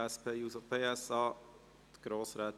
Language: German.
– Dies ist der Fall.